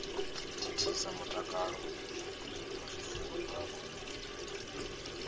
thithisa mutakalo wa zwifuwo zwavho